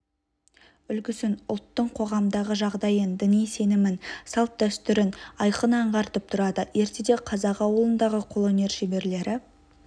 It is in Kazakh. үлгісін ұлттың қоғамдағы жағдайын діни сенімін салт-дәстүрін айқын аңғартып тұрады ертеде қазақ ауылындағы қолөнер шеберлері